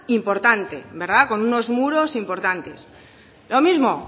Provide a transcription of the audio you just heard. importante verdad con unos muros importantes lo mismo